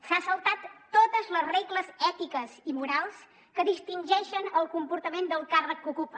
s’ha saltat totes les regles ètiques i morals que distingeixen el comportament del càrrec que ocupa